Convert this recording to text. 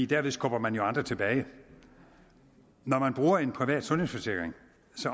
derved skubber man jo andre tilbage når man bruger en privat sundhedsforsikring